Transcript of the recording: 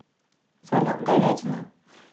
салют говядина